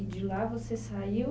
E de lá você saiu?